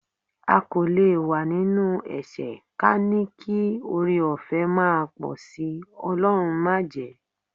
A kò lè wà nínú ẹ̀ṣẹ̀ ka ní kí ọrẹọ̀fẹ́ máa pọ̀ sí, Ọlọ́run májẹ̀ẹ́.